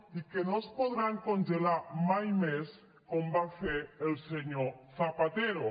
i que no es podran congelar mai més com va fer el senyor zapatero